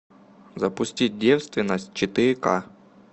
запустить девственность четыре ка